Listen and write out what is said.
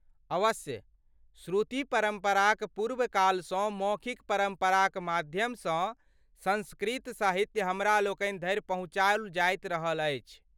अवश्य! श्रुति परम्पराक पूर्वकालसँ मौखिक परम्पराक माध्यमसँ सँस्कृत साहित्य हमरालोकनि धरि पहुँचाओल जाइत रहल अछि।